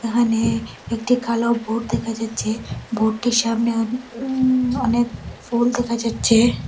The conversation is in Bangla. এখানে একটি কালো বোর্ড দেখা যাচ্ছে বোর্ড -টির সামনে উমম অনেক ফুল দেখা যাচ্ছে।